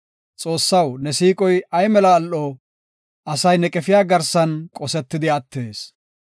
Xoossaw, ne siiqoy ay mela al7o! Asay ne qefiya garsan qosetidi attees.